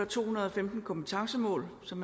to hundrede og femten kompetencemål som